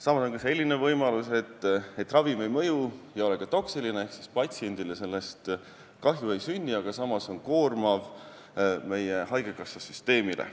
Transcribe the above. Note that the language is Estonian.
Samas on ka selline võimalus, et ravim ei mõju ega ole ka toksiline ehk siis patsiendile sellest kahju ei sünni, aga see on siiski koormav meie haigekassa süsteemile.